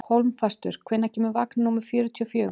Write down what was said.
Hólmfastur, hvenær kemur vagn númer fjörutíu og fjögur?